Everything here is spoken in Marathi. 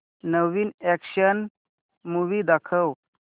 नवीन अॅक्शन मूवी दाखव